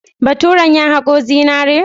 Baturen ya haƙo zinaren?